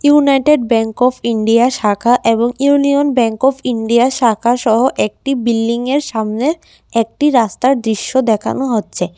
United bank of India শাখা এবং union bank of India শাখাসহ একটি বিল্ডিংয়ের সামনে একটি রাস্তার দৃশ্য দেখানো হচ্ছে।